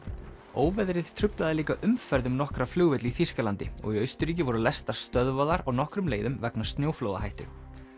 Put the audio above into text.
óveðrið truflaði líka umferð um nokkra flugvelli í Þýskalandi og í Austurríki voru lestar stöðvaðar á nokkrum leiðum vegna snjóflóðahættu